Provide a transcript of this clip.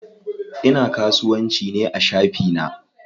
Ina kasuwanci ne a shafi na.